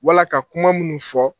Wala ka kuma minnu fɔ